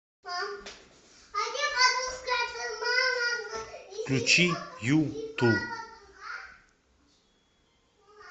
включи юту